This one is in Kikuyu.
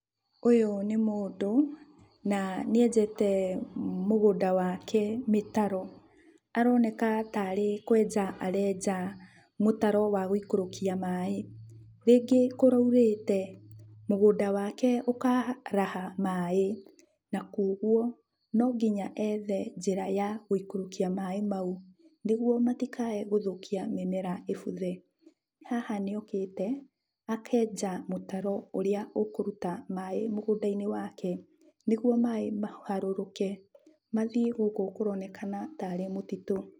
Ũyũ nĩ mũndũ na nĩenjete mũgũnda wake mĩtaro. Aroneka tarĩ kwenja arenja mũtaro wa gũikũrũkia maĩ. Rĩngĩ kũraurĩte, mũgũnda wake ũkaraha maĩ ,na kuoguo no nginya ethe njĩra ya gũikũrũkia maĩ mau, nĩgũo matikae gũthũkia mĩmera ĩbuthe. Haha nĩokĩte akenja mũtaro ũrĩa ũkũruta maĩ mũgũnda-inĩ wake, nĩguo maĩ maharũrũke, mathiĩ gũkũ kũronekena tarĩ mũtitũ.